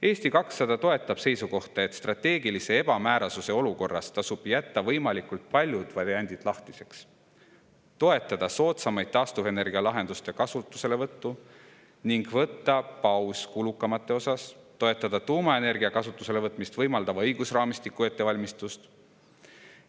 Eesti 200 toetab seisukohta, et strateegilise ebamäärasuse olukorras tasub jätta võimalikult paljud variandid lahtiseks, toetada soodsamate taastuvenergialahenduste kasutuselevõttu, võtta paus kulukamate lahenduste ning toetada tuumaenergia kasutusele võtmist võimaldava õigusraamistiku ettevalmistust.